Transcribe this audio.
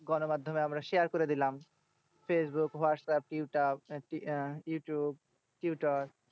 গণমাধ্যমে আমরা share করে দিলাম। Facebook, WhatsApp, YouTube, Twitter